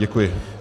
Děkuji.